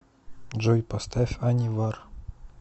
джой поставь анивар